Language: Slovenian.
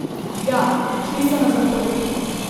Ja, šli so na Zahod.